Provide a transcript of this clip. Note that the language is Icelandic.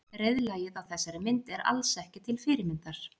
Reiðlagið á þessari mynd er alls ekki til fyrirmyndar.